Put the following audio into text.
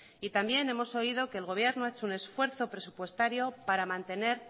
y también hemos oído que el gobierno ha hecho un esfuerzo presupuestario para mantener